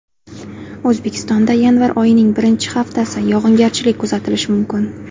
O‘zbekistonda yanvar oyining birinchi haftasi yog‘ingarchilik kuzatilishi mumkin.